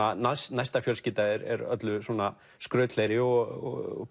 næsta fjölskylda er öllu svona skrautlegri og